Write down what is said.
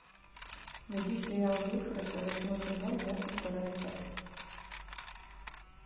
найди сериал вилфред восьмой сезон двадцать вторая часть